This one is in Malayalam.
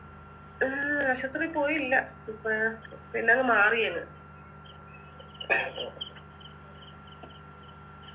ഉം ആശുപത്രി പോയില്ല ഇപ്പോഴ് പിന്നത് മാറിയങ്